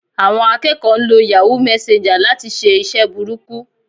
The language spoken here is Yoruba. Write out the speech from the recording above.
Àwọn akẹ́kọ̀ọ́ ń lo Yahoo messenger láti ṣe iṣẹ́ burúkú